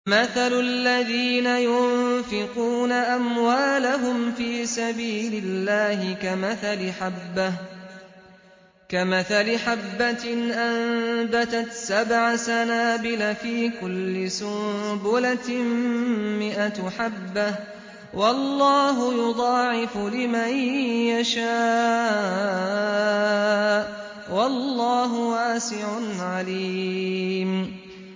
مَّثَلُ الَّذِينَ يُنفِقُونَ أَمْوَالَهُمْ فِي سَبِيلِ اللَّهِ كَمَثَلِ حَبَّةٍ أَنبَتَتْ سَبْعَ سَنَابِلَ فِي كُلِّ سُنبُلَةٍ مِّائَةُ حَبَّةٍ ۗ وَاللَّهُ يُضَاعِفُ لِمَن يَشَاءُ ۗ وَاللَّهُ وَاسِعٌ عَلِيمٌ